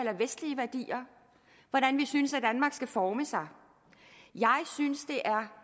hvordan vi synes danmark skal forme sig jeg synes det er